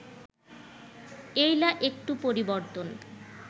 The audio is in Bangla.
এইলা একটু পরিবর্তন